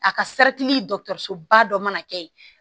A ka ba dɔ mana kɛ yen